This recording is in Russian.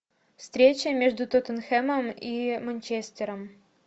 встреча между тоттенхэмом и манчестером